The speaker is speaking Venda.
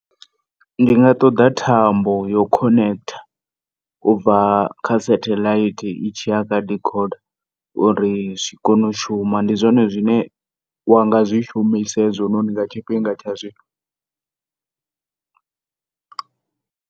Ndinga ṱoḓa thambo yo connector ubva kha setheḽaithi itshiya kha decoder uri zwi kone u shuma. Ndi zwone zwine wa nga zwi shumisa hezwononi nga tshifhinga tsha zwino.